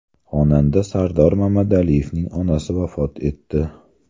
Xonanda Sardor Mamadaliyevning onasi vafot etdi.